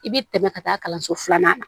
I bɛ tɛmɛ ka taa kalanso filanan na